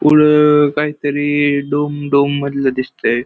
पुढ काहीतरी डोंग डोंग मधल दिसतय.